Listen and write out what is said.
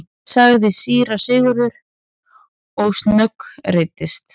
sagði síra Sigurður og snöggreiddist.